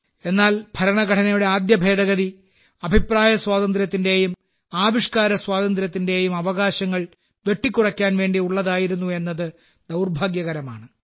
എന്നാൽ ഭരണഘടനയുടെ ആദ്യ ഭേദഗതി അഭിപ്രായസ്വാതന്ത്ര്യത്തിന്റെയും ആവിഷ്കാര സ്വാതന്ത്ര്യത്തിന്റെയും അവകാശങ്ങൾ വെട്ടിക്കുറയ്ക്കാൻ വേണ്ടി ഉള്ളതായിരുന്നു എന്നത് ദൌർഭാഗ്യകരമാണ്